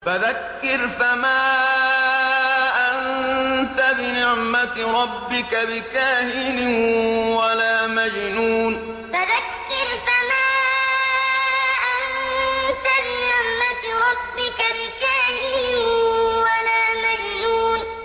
فَذَكِّرْ فَمَا أَنتَ بِنِعْمَتِ رَبِّكَ بِكَاهِنٍ وَلَا مَجْنُونٍ فَذَكِّرْ فَمَا أَنتَ بِنِعْمَتِ رَبِّكَ بِكَاهِنٍ وَلَا مَجْنُونٍ